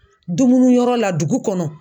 Dumunuyɔrɔ la dugu kɔnɔ.